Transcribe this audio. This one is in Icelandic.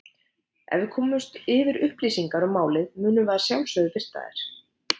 Ef við komumst yfir upplýsingar um málið munum við að sjálfsögðu birta þær.